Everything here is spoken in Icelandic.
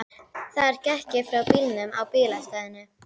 Þar gekk ég frá bílnum á bílastæðinu.